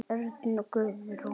Örn og Guðrún.